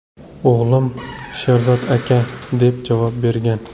O‘g‘lim: ‘Sherzod aka’, deb javob bergan.